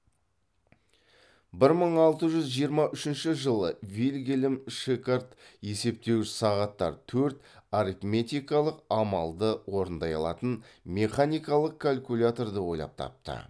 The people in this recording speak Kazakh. бір мың алты жүз жиырма үшінші жылы вильгельм шикард есептеуіш сағаттар төрт арифметикалық амалды орындай алатын механикалық калькуляторды ойлап тапты